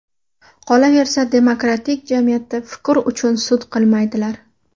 Qolaversa, demokratik jamiyatda fikr uchun sud qilmaydilar.